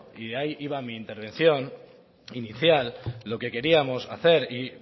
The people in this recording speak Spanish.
y ahí iba mi intervención inicial lo que queríamos hacer y